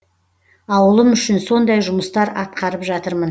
ауылым үшін сондай жұмыстар атқарып жатырмын